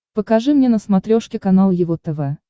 покажи мне на смотрешке канал его тв